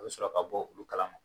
U bɛ sɔrɔ ka bɔ olu kalama.